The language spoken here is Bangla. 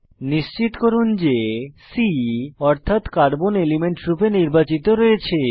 নিশ্চিত করুন যে C অর্থাত কার্বন এলিমেন্ট রূপে নির্বাচিত রয়েছে